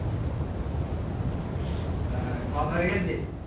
আহ খাওয়া দাওয়া হয়ে গেছে